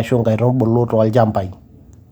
ashu inkaitubulu too ilchambai.